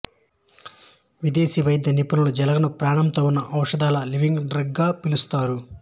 విదేశీ వైద్య నిపుణులు జలగలను ప్రాణంతో ఉన్న ఔషధాలు లివింగ్ డ్రగ్ గా పిలుస్తారు